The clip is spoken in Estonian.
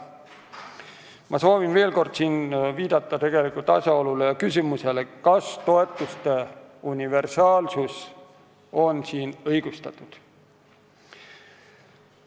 Ma soovin siinkohal veel kord viidata tegelikele asjaoludele ja küsimusele, kas toetuste universaalsus on õigustatud.